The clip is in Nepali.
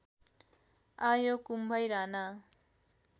आयो कुम्भै राना